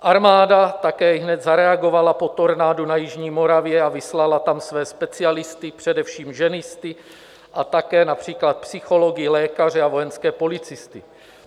Armáda také hned zareagovala po tornádu na jižní Moravě a vyslala tam své specialisty, především ženisty, a také například psychology, lékaře a vojenské policisty.